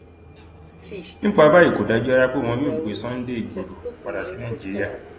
nípa báyìí kò dájú rárá pé wọn yóò gbé sunday igbodò padà sí nàìjíríà